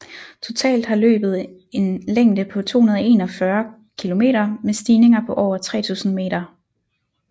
Totalt har løbet en længde på 241 km med stigninger på over 3000 meter